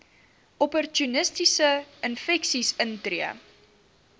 opportunistiese infeksies intree